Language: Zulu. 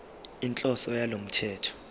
inhloso yalo mthetho